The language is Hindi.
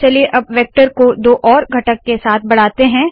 चलिए अब वेक्टर को दो और घटक के साथ बढ़ाते है